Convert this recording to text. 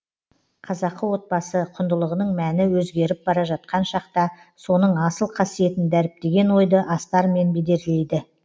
қазақы отбасы құндылығының мәні өзгеріп бара жатқан шақта соның асыл қасиетін дәріптеген ойды астармен бедерлейді